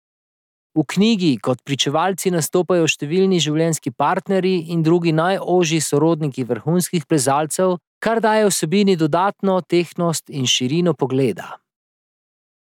V knjigi kot pričevalci nastopajo številni življenjski partnerji in drugi najožji sorodniki vrhunskih plezalcev, kar daje vsebini dodatno tehtnost in širino pogleda.